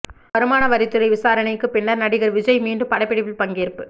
வருமான வரித்துறை விசாரணைக்குப் பின்னர் நடிகர் விஜய் மீண்டும் படப்பிடிப்பில் பங்கேற்பு